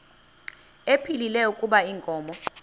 ephilile kuba inkomo